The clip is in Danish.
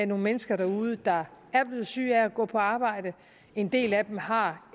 nogle mennesker derude der er blevet syge af at gå på arbejde en del af dem har